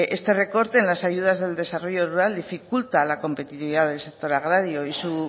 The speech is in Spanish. este recorte en las ayudas del desarrollo rural dificulta la competitividad del sector agrario y su